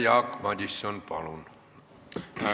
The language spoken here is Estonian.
Jaak Madison, palun!